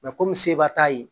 komi seba t'a ye